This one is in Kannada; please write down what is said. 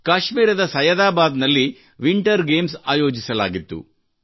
ಕಾಶ್ಮೀರದ ಸಯ್ಯದಾಬಾದ್ ನಲ್ಲಿ ವಿಂಟರ್ ಗೇಮ್ಸ್ ಆಯೋಜಿಸಲಾಗಿತ್ತು